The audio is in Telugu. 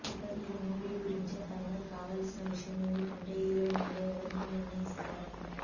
ఇక ఈ మూవీ గురించి ఫైనల్ కావాల్సిన విషయం ఏమిటంటే హీరోయిన్గా ఎవరిని నిర్ణయిస్తారని